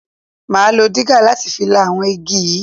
Máa lo digger láti fi la àwọn igi yìí.